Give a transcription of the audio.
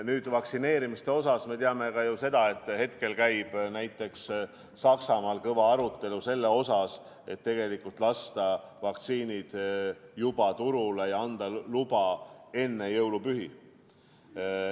Nüüd, vaktsineerimise kohta me teame ka seda, et hetkel käib näiteks Saksamaal kõva arutelu selle üle, kas lasta vaktsiinid juba turule ja anda luba enne jõulupühi.